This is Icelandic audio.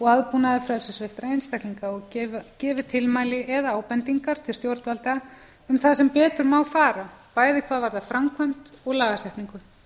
aðbúnað frelsissviptra einstaklinga og gefið tilmæli eða ábendingar til stjórnvalda um það sem betur má fara bæði hvað varðar framkvæmd og lagasetningu